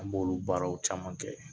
An b'olu baaraw caman kɛ.